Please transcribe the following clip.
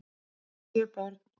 Sjö börn